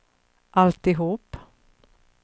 alltihop